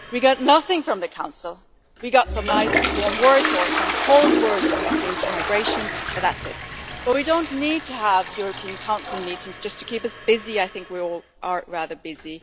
We got nothing from the Council. We got some nice warm words or some cold words, when it came to migration but that's it. We don't need to have European Council meetings just to keep us busy, as I think we are all rather busy!